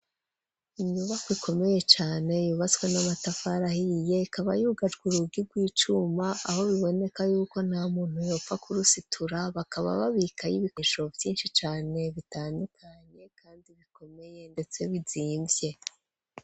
Inyubako ikomeye cane yubatswe n'amatafari ahiye ikaba yubatswe urugi rw'icuma aho biboneka yuko nta muntu yopfa ku rusitura bakaba babika y'ibikeshero vyinshi cane bitandukanye kandi bikomeye ndetse bizimvye.